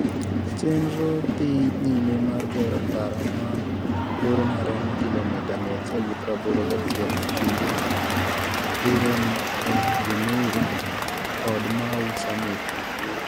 Chenro dhi nyime mar gero ndara ma borne romo kilomita 181 e kind Rironi e Limuru kod Mau Summit, Nakuru.